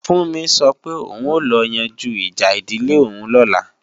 Fúnmi sọ pé òun ó lọ yanjú ìjà ìdílé òun lọ́la